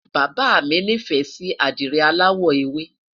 bàbá mi ní fẹ Si adire alawọ ewe